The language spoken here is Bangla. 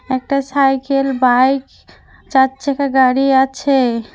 একটা সাইকেল বাইক চার চাকা গাড়ি আছে।